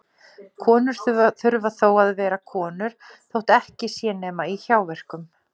Konur þurfa þó að vera konur þótt ekki sé nema í hjáverkum.